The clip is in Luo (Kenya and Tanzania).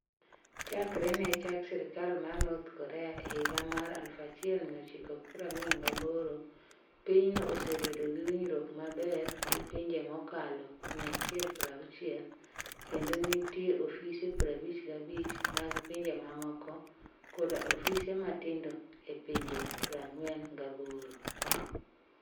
Chakre ne chak sirkal mar North Korea e higa mar 1948, pinyno osebedo gi winjruok maber gi pinje mokalo 160, kendo nitie ofise 55 mag pinje mamoko koda ofise matindo e pinje 48.